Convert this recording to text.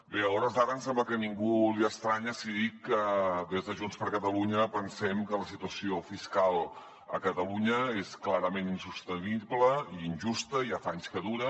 bé a hores d’ara em sembla que a ningú li estranya si dic que des de junts per catalunya pensem que la situació fiscal a catalunya és clarament insostenible i injusta ja fa anys que dura